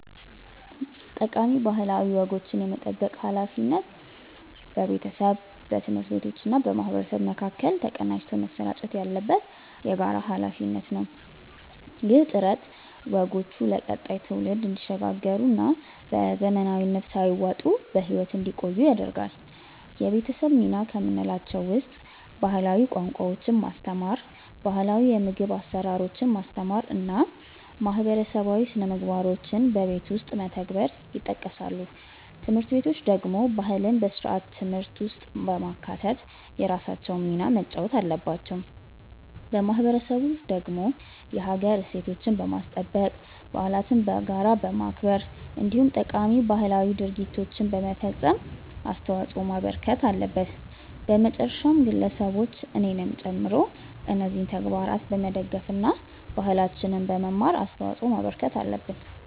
ጠቃሚ ባህላዊ ወጎችን የመጠበቅ ሃላፊነት በቤተሰብ፣ በትምህርት ቤቶችና በማህበረሰብ መካከል ተቀናጅቶ መሰራጨት ያለበት የጋራ ሃላፊነት ነው። ይህ ጥረት ወጎቹ ለቀጣዩ ትውልድ እንዲሸጋገሩና በዘመናዊነት ሳይዋጡ በህይወት እንዲቆዩ ያደርጋል። የቤተሰብ ሚና ከምንላቸው ውስጥ ባህላዊ ቋንቋዎችን ማስተማር፣ ባህላው የምግብ አሰራሮችን ማስተማር እና ማህበረሰባዊ ስነምግባሮችን በቤት ውስጥ መተግበር ይጠቀሳሉ። ትምህርት ቤቶች ደግሞ ባህልን በስርዓተ ትምህርት ውስጥ በማካተት የራሳቸውን ሚና መጫወት አለባቸው። ማህበረሰቡ ደግሞ የሀገር እሴቶችን በማስጠበቅ፣ በዓለትን በጋራ በማክበር እንዲሁም ጠቃሚ ባህላዊ ድርጊቶችን በመፈፀም አስተዋጽዖ ማበርከት አለበት። በመጨረሻም ግለሰቦች እኔንም ጨምሮ እነዚህን ተግባራት በመደገፍ እና ባህላችንን በመማር አስተዋጽዖ ማበርከት አለብን።